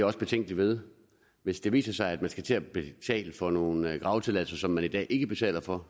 også betænkelig ved hvis det viser sig at man skal til at betale for nogle gravetilladelser som man i dag ikke betaler for